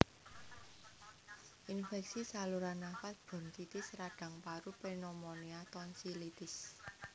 Infèksi saluran nafas bronchitis radhang paru Pneumonia tonsilitis